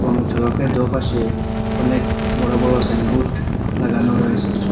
এবং সড়কের দোপাশে অনেক বড়ো বড়ো সাইনবোর্ড লাগানো রয়েছে।